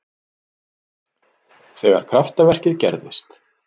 Þegar kraftaverkið gerðist.